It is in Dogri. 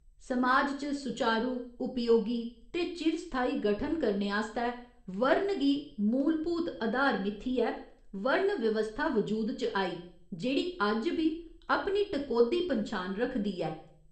समाज दा सुचारू, उपयोगी ते चिर स्थाई गठन करने आस्तै 'वर्ण' गी मूलभूत अधार मिथियै वर्ण व्यवस्था वजूद च आई, जेह्ड़ी अज्ज बी अपनी टकोह्दी पन्छान रखदी ऐ।